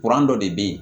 Kuran dɔ de bɛ yen